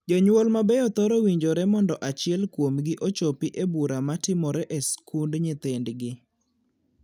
Jonyuol mabeyo thoro winjore mondo achiel kuomgi ochopi e bura matimore e skund nyithindgi.